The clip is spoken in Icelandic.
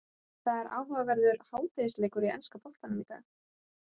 Það er áhugaverður hádegisleikur í enska boltanum í dag.